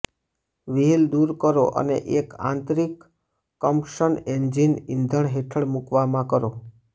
wheel દૂર કરો અને એક આંતરિક કમ્બશન એન્જિન ઈંધણ હેઠળ મૂકવામાં કરો